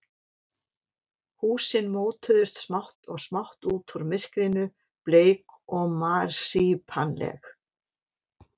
Húsin mótuðust smátt og smátt út úr myrkrinu, bleik og marsípanleg.